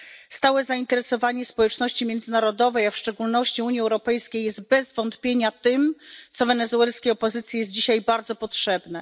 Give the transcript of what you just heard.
Stałe zainteresowanie społeczności międzynarodowej, a w szczególności Unii Europejskiej, jest bez wątpienia tym, co wenezuelskiej opozycji jest dzisiaj bardzo potrzebne.